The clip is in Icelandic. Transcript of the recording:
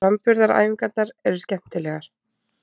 Framburðaræfingarnar eru skemmtilegar.